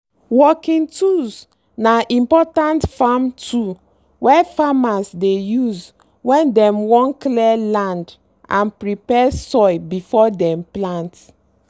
working tools na important farm tool wey farmers dey use when dem wan clear land and prepare soil before dem plant.